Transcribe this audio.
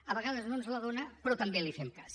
a vegades no ens la dona però també li fem cas